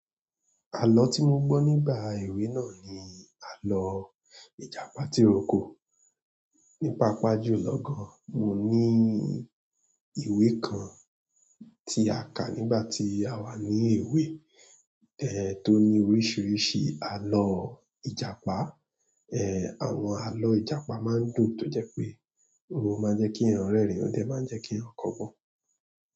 Àlọ́ tí mo gbọ́ nígbà èwe náà ni àlọ́ ìjàpá tìrókò. Ní paàpá jùlọ gan, mo ní ìwé kan tí a kà nígbà tí àwa ní èwe tẹ́ tó ní oríṣiríṣi àlọ́ ìjàpá. Èh, àwọn àlọ́ ìjàpá máa ń dùn tó jẹ́ pé ó máa ń jẹ́ kí ènìyàn rẹ́rìn, ó dẹ máa ń jẹ́ kí ń kọgbọ́n.